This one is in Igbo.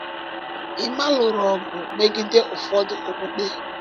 Emma lụrụ ọgụ megide ụfọdụ okpukpe.